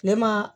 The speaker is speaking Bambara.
Kile ma